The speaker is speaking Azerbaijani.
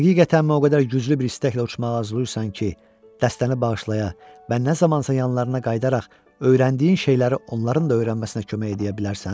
Həqiqətən mən o qədər güclü bir istəklə uçmağa hazırlaşırsan ki, dəstəni bağışlaya, bə nə zamansa yanlarına qayıdaraq öyrəndiyin şeyləri onların da öyrənməsinə kömək edə bilərsən?